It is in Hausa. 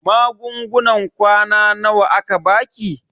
Magungunan kwana nawa aka baki?